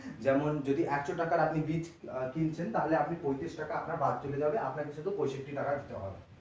যেমন যদি একশো টাকার আপনি বীজ আহ কিনছেন তাহলে আপনার পচিঁশ টাকা আপনার বাদ চলে যাবে আপনাকে শুধু পঁয়ষট্টি টাকা দিতে হবে।